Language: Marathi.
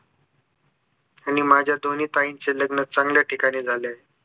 आणि माझ्या दोनी ताईंचे लग्न चांगल्या ठिकाणी झाले